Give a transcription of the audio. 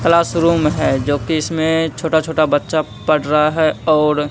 classroom है जो कि इसमें छोटा छोटा बच्चा पढ़ रहा है और--